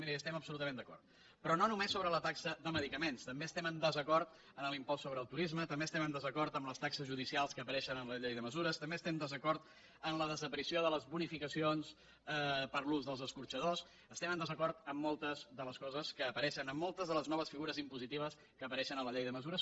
miri hi estem absolutament d’acord però no només sobre la taxa de medicaments també estem en desacord amb l’impost sobre el turisme també estem en desacord amb les taxes judicials que apareixen en la llei de mesures també estem en desacord amb la desaparició de les bonificacions per l’ús dels escorxadors estem en desacord amb moltes de les coses que apareixen en moltes de les noves figures impositives que apareixen a la llei de mesures